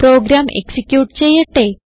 programme execute ചെയ്യട്ടെ